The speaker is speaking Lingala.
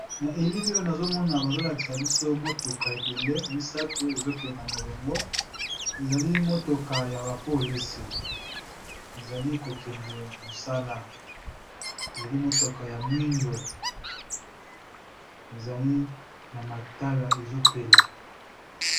Na elili oyo nazomona bazo lakisa biso motuka ebele misato ezokenda molongo ezali motoka ya ba polisi ezali ko kende mosala ezali motoka ya mwindo ezali na matala ezopela.